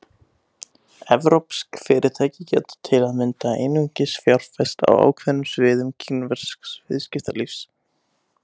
Evrópsk fyrirtæki geta til að mynda einungis fjárfest á ákveðnum sviðum kínversks viðskiptalífs.